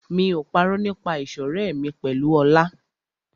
Mi ò parọ́ nípa ìṣọ̀rẹ́ mi pẹ̀lú Ọlá.